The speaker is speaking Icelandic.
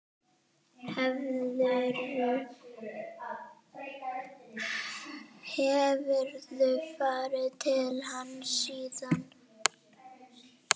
Hefurðu farið til hans síðan?